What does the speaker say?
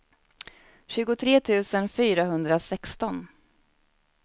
tjugotre tusen fyrahundrasexton